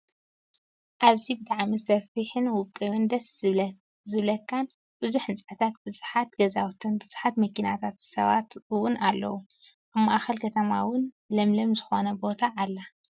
ኣዝዩ ብጣዐሚ ሰፊሕን ውቅብ ደስ ዝብለካን ብዙሓት ህንፃታት ብዙሓት ገዛውትን ብዙሓት መኪናታትን ሰባት እውን ኣለው። ኣብ ማእከል ከተማ እውን ለምለምዝኮነት ቦታ ኣላ።